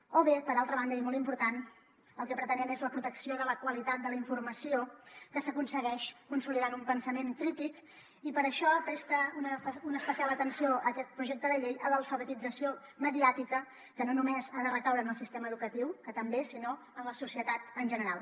o bé per altra banda i molt important el que pretenem és la protecció de la qualitat de la informació que s’aconsegueix consolidant un pensament crític i per això presta una especial atenció aquest projecte de llei a l’alfabetització mediàtica que no només ha de recaure en el sistema educatiu que també sinó en la societat en general